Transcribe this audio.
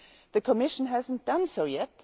The Commission has not done so yet.